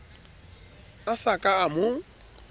a sa ka a mo